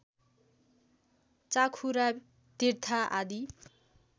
चाखुरा तिर्था आदि